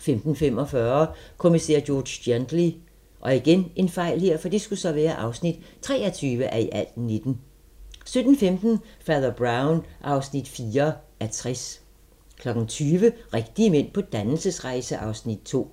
15:45: Kommissær George Gently (23:19) 17:15: Fader Brown (4:60) 20:00: Rigtige mænd på dannelsesrejse (Afs. 2)